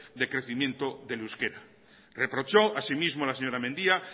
de crecimiento del euskera reprochó así mismo la señora mendia